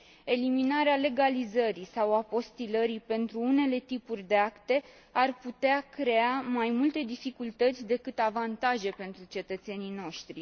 Eliminarea legalizării sau apostilării pentru unele tipuri de acte ar putea crea mai multe dificultăți decât avantaje pentru cetățenii noștri.